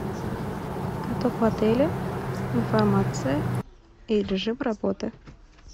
каток в отеле информация и режим работы